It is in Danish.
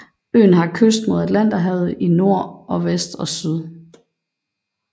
Øen har kyst mod Atlanterhavet i nord og vest og syd